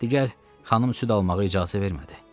Digər xanım süd almağa icazə vermədi.